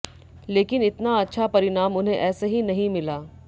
लेकिन इतना अच्छा परिणाम उन्हें ऐसे ही नहीं मिला